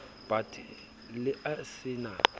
bat la e se na